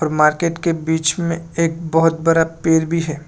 Market के बीच में एक बहुत बड़ा पेर भी है।